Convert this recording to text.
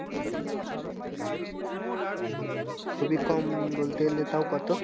হম খুবিই কম বলতে গেলে তাও কত?